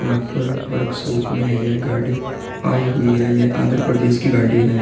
यहाँ पर वर्कशॉप में यह गाड़ी आयी हुई है यह आंध्रप्रदेश की गाड़ी है।